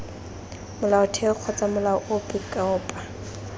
molaotheo kgotsa molao ope kopa